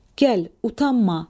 Gəl, utanma.